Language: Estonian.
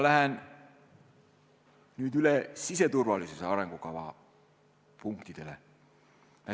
Lähen nüüd üle siseturvalisuse arengukava punktidele.